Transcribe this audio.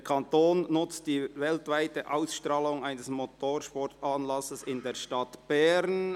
Der Kanton nutzt die weltweite Ausstrahlung eines Motorsportanlasses in der Stadt Bern».